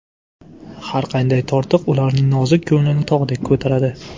Har qanday tortiq ularning nozik ko‘nglini tog‘dek ko‘taradi.